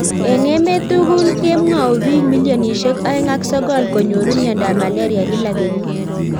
Eng emeet tugul kemwau piik milionisiek aoeng ak sokol konyoruu miondop Malaria kila kenyiit